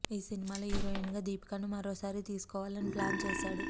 ఈ సినిమాలో హీరోయిన్ గా దీపికను మరోసారి తీసుకోవాలని ప్లాన్ చేశాడు